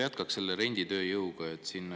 Jätkaks selle renditööjõu.